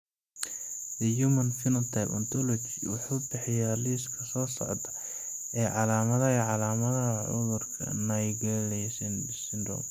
The Human Phenotype Ontology wuxuu bixiyaa liiska soo socda ee calaamadaha iyo calaamadaha cudurka Naegeli syndrome.